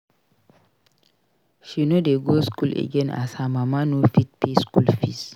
She no dey go skool again as her mama no fit pay skool fees.